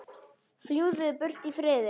Fljúgðu burt í friði.